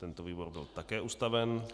Tento výbor byl také ustaven.